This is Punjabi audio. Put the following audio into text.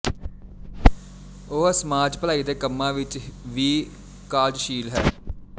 ਉਹ ਸਮਾਜ ਭਲਾਈ ਦੇ ਕੰਮਾਂ ਵਿੱਚ ਵੀ ਕਾਰਜਸ਼ੀਲ ਹੈ